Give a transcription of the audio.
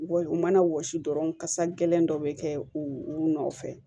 Wa u mana wɔsi dɔrɔn kasa gɛlɛn dɔ bɛ kɛ u nɔfɛ